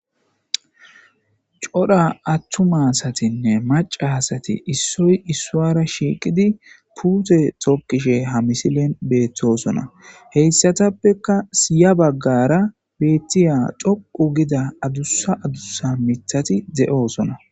codha attumasatinne maca hasati issoy issuara shiiqidi puute tokkishe ha misilen beettosona heyssatappeka siya baggara beettiya doqu gida adussa adussa mitati de7oosona